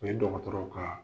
U ye dɔgɔtɔrɔw ka